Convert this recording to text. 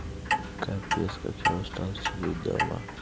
капец как я устал сидеть дома